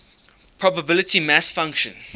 probability mass function